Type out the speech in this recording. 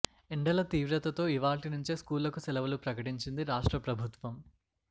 ఎండల తీవ్రతతో ఇవాళ్టి నుంచే స్కూళ్లకు సెలవులు ప్రకటించింది రాష్ట్ర ప్రభుత్వం